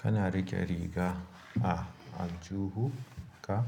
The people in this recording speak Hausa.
Kana riƙe riga a aljuhu ka,